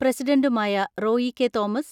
പ്രസിഡന്റുമായ Roy K Thomas